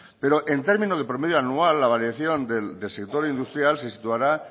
pero en términos de promedio anual la variación del sector industrial se situará